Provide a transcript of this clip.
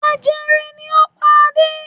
Jẹjẹrẹ ni ó pa Adé.